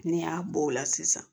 N'i y'a bɔ o la sisan